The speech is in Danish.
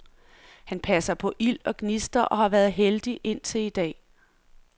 Han passer på ild og gnister og har været heldig indtil i dag.